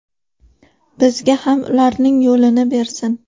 Bizga ham ularning yo‘lini bersin.